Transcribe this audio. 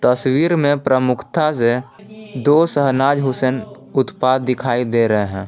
तस्वीर में प्रमुखता से दो शहनाज हुसैन उत्पाद दिखाई दे रहे हैं।